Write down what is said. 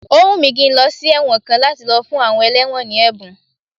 Ó wùn mí kí n lọ sí ẹ̀wọ̀n kan láti lọ fún àwọn ẹlẹ́wọ̀n ní ẹ̀bùn